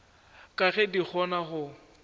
ka ge di kgona go